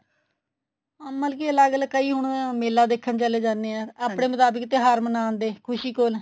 ਅਹ ਮਤਲਬ ਕੀ ਅਲੱਗ ਅਲੱਗ ਕਈ ਹੁਣ ਮੇਲਾ ਦੇਖਣ ਚਲੇ ਜਾਂਦੇ ਏ ਆਪਣੇ ਮੁਤਾਬਿਕ ਤਿਉਹਾਰ ਮਨਾਉਂਦੇ ਖੁਸ਼ੀ ਕੋਣ